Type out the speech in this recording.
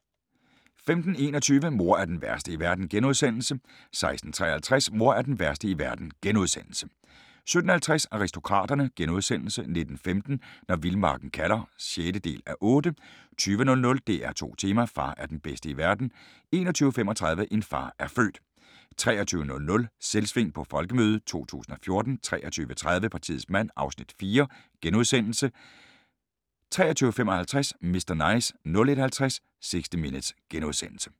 15:21: Mor er den værste i verden * 16:53: Mor er den værste i verden * 17:50: Aristokraterne * 19:15: Når vildmarken kalder (6:8) 20:00: DR2 Tema: Far er den bedste i verden 21:35: En far er født 23:00: Selvsving på Folkemødet 2014 23:30: Partiets mand (Afs. 4)* 23:55: Mr. Nice 01:50: 60 Minutes *